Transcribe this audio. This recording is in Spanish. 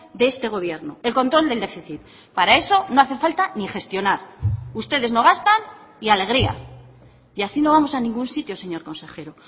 de este gobierno el control del déficit para eso no hace falta ni gestionar ustedes no gastan y alegría y así no vamos a ningún sitio señor consejero